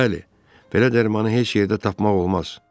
Bəli, belə dərmanı heç yerdə tapmaq olmaz.